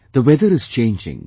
The weather is changing